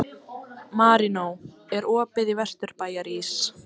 Marínó, er opið í Vesturbæjarís?